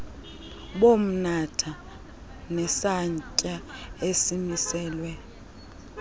bomnatha nesantya esimiselwe